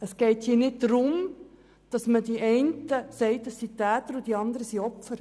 Es geht hier nicht darum, von Tätern und Opfern zu sprechen.